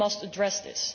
We must address this.